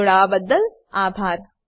જોડાવાબદ્દલ આભાર